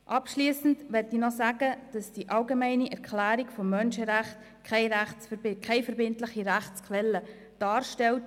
Abschliessend möchte ich noch sagen, dass die Allgemeine Erklärung der Menschenrechte keine verbindliche Rechtsquelle darstellt.